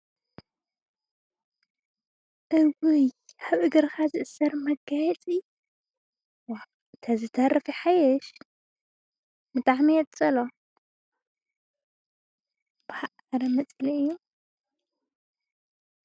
እውይ ኣብ እግርኻ ዝእሰር መጋየፂ ዋእ ተዝተርፍ ይሓይሽ ብጣዕሚ እየ ዝፀልኦ ቦእ አረ መፅልኢ እዩ።